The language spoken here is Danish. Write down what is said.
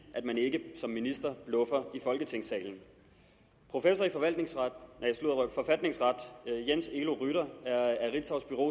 at man ikke som minister bluffer i folketingssalen professor i forfatningsret jens elo rytter er af ritzaus bureau